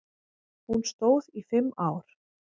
Hún stóð í fimm ár.